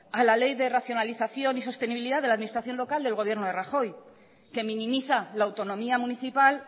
a la ley de racionalización y sostenibilidad de la administración local del gobierno de rajoy que minimiza la autonomía municipal